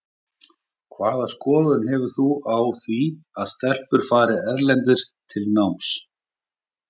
Hvaða skoðanir hefurðu á því að stelpur fari erlendis í nám?